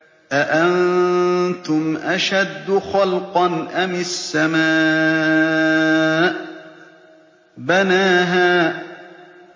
أَأَنتُمْ أَشَدُّ خَلْقًا أَمِ السَّمَاءُ ۚ بَنَاهَا